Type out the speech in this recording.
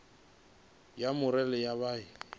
ya murole yo vha i